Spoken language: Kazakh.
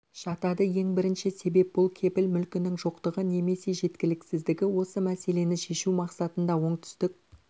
жатады ең бірінші себеп бұл кепіл мүлкінің жоқтығы немесе жеткіліксіздігі осы мәселені шешу мақсатында оңтүстік